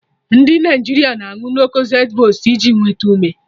Ndị Naịjirịa na aṅụ Locozed boost iji nwete ume